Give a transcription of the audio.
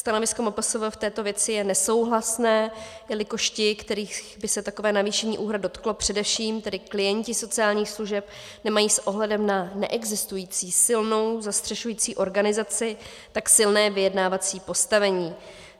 Stanovisko MPSV v této věci je nesouhlasné, jelikož ti, kterých by se takové navýšení úhrad dotklo, především tedy klienti sociálních služeb, nemají s ohledem na neexistující silnou zastřešující organizaci tak silné vyjednávací postavení.